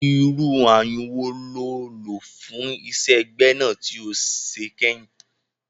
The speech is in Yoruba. Irú ayun wo lo lò fún iṣẹ́ gbẹ́nà tí o ṣe kẹyìn?